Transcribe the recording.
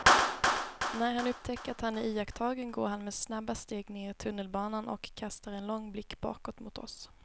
När han upptäcker att han är iakttagen går han med snabba steg ner i tunnelbanan och kastar en lång blick bakåt mot oss.